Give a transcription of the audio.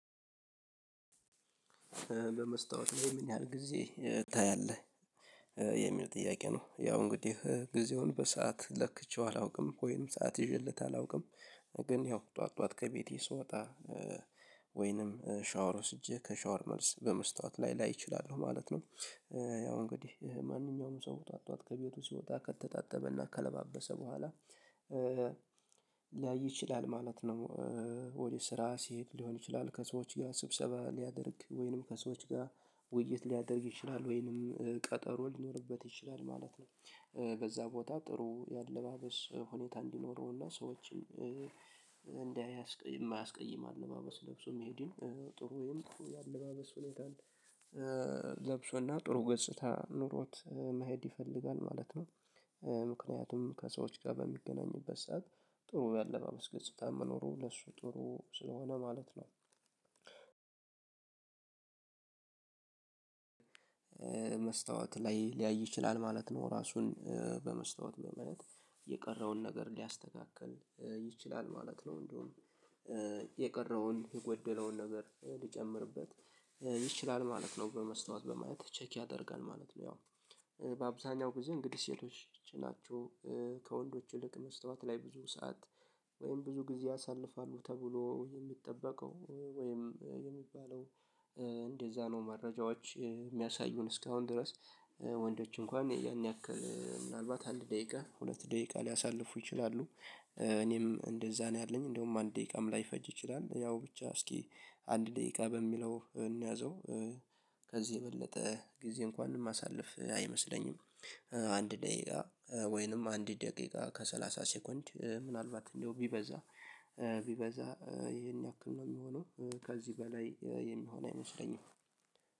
በመስታወት ላይ ምን ያህል ጊዜ ታያለህ የሚል ጥያቄ ነው? ያው እንግዲህ ጊዜውን በሰአት ለክቼው አላውቅም ወይም ሰዓት ይዤለት አላውቅም። ግን ያው ጠዋት ጠዋት ከቤቴ ስወጣ ወይንም ሻወር ወስጄ ከሻወር መልስ በመስታወት ላይ ላይ እችላለሁ ማለት ነው። ያው እንግዲህ ማንኛውም ሰው ጧትጧት ከቤቱ ሲወጣ ከተጣጠበና ከለባበሰ በኋላ ሊያይ ይችላል ማለት ነው። ወደ ስራ ሲሄድ ሊሆን ይችላል ከሰዎች ጋ ስብሰባ ሊያደርግ ወይንም ከሰዎች ጋር ውይይት ሊያደርግ ይችላል ወይንም ቀጠሮ ሊኖርበት ይችላል ማለት ነው። በዛ ቦታ ጥሩ የአለባበስ ሁኔታ እንዲኖረውና ሰዎችም እንዳያስቀይም አለባበስ ለብሶ መሄድም ጥሩ የምትሉ የአለባበስ ሁኔታን ለብሶና ጥሩ ገጽታ ኖሮት መሄድ ይፈልጋል ማለት ነው። ምክንያቱም ከሰዎች ጋር በሚገናኝበት ሰዓት ጥሩ ያለባበስ ገጽታ መኖሩ ለሱ ጥሩ ስለሆነ ማለት ነው። መስታወት ላይ ሊያይ ይችላል ማለት ነው ራሱን በመስታወት በማየት የቀረውን ነገር ሊያስተካክል ይችላል ማለት ነው። እንደውም የቀረውን የጎደለውን ነገር ሊጨምርበት ይችላል ማለት ነው። በመስታወት በማየት ቼክ ያደርጋል ማለት ነው። ያው በአብዛኛው ጊዜ እንግዲህ ሴቶች ናቸው። ከወንዶች ይልቅ መስታወት ላይ ብዙ ሰዓት ወይም ብዙ ጊዜ ያሳልፋሉ ተብሎ የሚጠበቀው ወይም የሚባለው። እንደዛ ነው መረጃዎች የሚያሳዩን እስካሁን ድረስ። ወንዶች እንኳን ያን ያክል ምናልባት አንድ ደቂቃ ሁለት ደቂቃ ሊያሳልፉ ይችላሉ። እኔም እንደዛ ነው ያለኝ እንደውም አንድ ደቂቃም ላይፈጅ ይችላል ያው ብቻ እስኪ አንድ ደቂቃ በሚለው እንያዘው። ከዚህ የበለጠ ጊዜ እንኳን ማሳለፍ አይመስለኝም። አንድ ደቂቃ ወይንም አንድ ደቂቃ ከሰላሳ ሴኮንት ምናልባት እንደው ቢበዛ ቢበዛ ይሄን ያክል ነው የሚሆነው። ከዚህ በላይ የሚሆን አይመስለኝም።